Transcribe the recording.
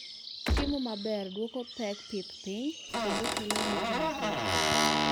ochiemo maber dwoko pek pith piny kendo kelo yuto mathoth